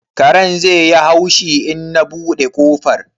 karen zai yi haushi in na buɗe kofar?